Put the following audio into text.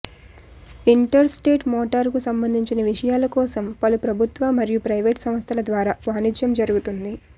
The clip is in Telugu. ఇంటర్స్టేట్ మోటారుకు సంబంధించిన విషయాల కోసం పలు ప్రభుత్వ మరియు ప్రైవేటు సంస్థల ద్వారా వాణిజ్యం జరుగుతుంది